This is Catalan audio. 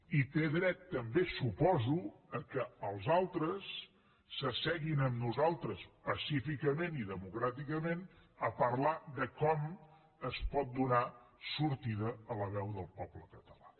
i té dret també suposo que els altres s’asseguin amb nosaltres pacíficament i democràticament a parlar de com es pot donar sortida a la veu del poble català